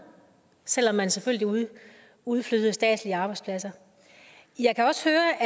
selv om man selvfølgelig udflyttede statslige arbejdspladser jeg kan også høre